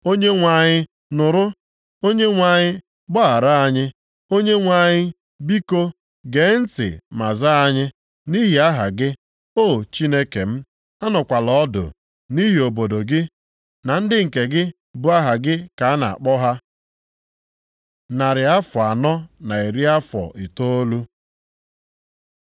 Onyenwe anyị nụrụ! Onyenwe anyị, gbaghara anyị! Onyenwe anyị biko, gee ntị ma zaa anyị. Nʼihi aha gị, O Chineke m, anọkwala ọdụ, nʼihi obodo gị, na ndị nke gị bụ aha gị ka a na-akpọ ha.” Narị afọ anọ na iri afọ itoolu